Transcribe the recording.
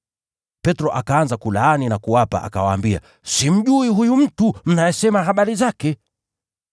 Petro akaanza kujilaani na kuwaapia, “Mimi simjui huyu mtu mnayesema habari zake!”